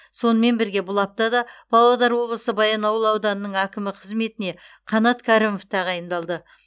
сонымен бірге бұл аптада павлодар облысы баянауыл ауданының әкімі қызметіне қанат кәрімов тағайындалды